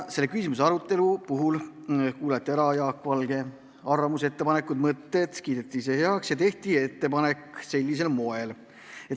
Selle küsimuse arutelul kuulati ära Jaak Valge arvamus, ettepanekud, mõtted ja kiideti eelnõu heaks.